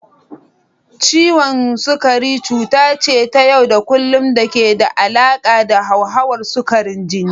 Ciwon sukari cuta ce ta yau da kullun da ke da alaƙa da hauhawar sukarin jini.